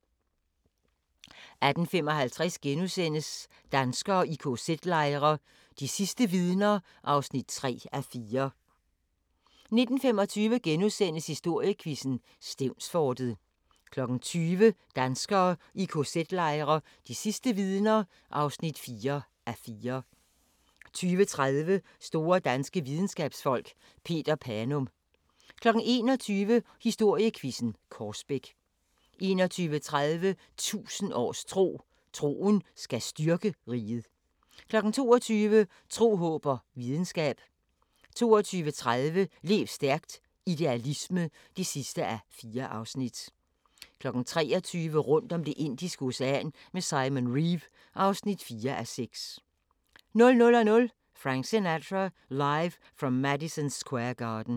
18:55: Danskere i kz-lejre – de sidste vidner (3:4)* 19:25: Historiequizzen: Stevnsfortet * 20:00: Danskere i kz-lejre – de sidste vidner (4:4) 20:30: Store danske videnskabsfolk: Peter Panum 21:00: Historiequizzen: Korsbæk 21:30: 1000 års tro: Troen skal styrke riget 22:00: Tro, håb og videnskab 22:30: Lev stærkt - idealisme (4:4) 23:00: Rundt om Det indiske Ocean med Simon Reeve (4:6) 00:00: Frank Sinatra – Live From Madison Square Garden